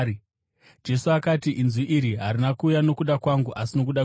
Jesu akati, “Inzwi iri harina kuuya nokuda kwangu, asi nokuda kwenyu.